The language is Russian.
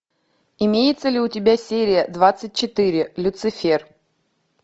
имеется ли у тебя серия двадцать четыре люцифер